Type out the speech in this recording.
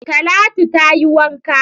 Talatu tayi wanka